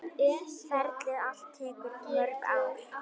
Ferlið allt tekur mörg ár.